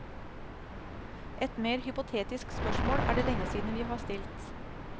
Et mer hypotetisk spørsmål er det lenge siden vi har stilt.